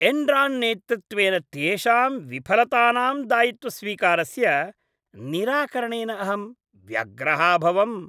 Enron नेतृत्वेन तेषां विफलतानां दायित्वस्वीकारस्य निराकरणेन अहं व्यग्रः अभवम्।